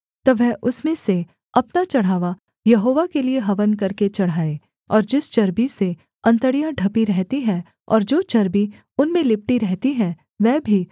तब वह उसमें से अपना चढ़ावा यहोवा के लिये हवन करके चढ़ाए और जिस चर्बी से अंतड़ियाँ ढपी रहती हैं और जो चर्बी उनमें लिपटी रहती है वह भी